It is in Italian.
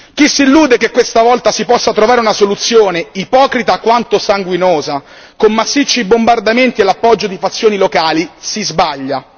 Chi si illude che questa volta si possa trovare una soluzione, ipocrita quanto sanguinosa, con massicci bombardamenti e l'appoggio di fazioni locali si sbaglia.